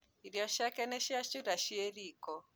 Irio ciake nĩ ciacura ciĩ riko